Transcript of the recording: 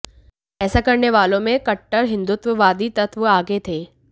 ऐसा करने वालों में कट्टर हिन्दुत्ववादी तत्व आगे थे